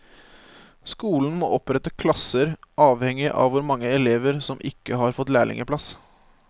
Skolen må opprette klasser avhengig av hvor mange elever som ikke har fått lærlingeplass.